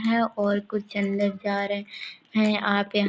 है और कुछ अंदर जा रहे है आप यहाँ--